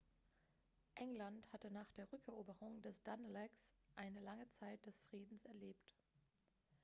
england hatte nach der rückeroberung des danelags eine lange zeit des friedens erlebt